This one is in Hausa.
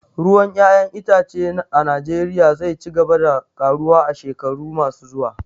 Ruwan 'ya'yan itace a Najeriya zai ci gaba da karuwa a shekaru masu zuwa